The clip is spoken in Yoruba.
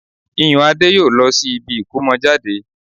Iyùnadé yóò lọ sí ibi ìkómọjáde